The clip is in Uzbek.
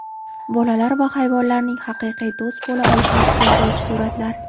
Bolalar va hayvonlarning haqiqiy do‘st bo‘la olishini isbotlovchi suratlar.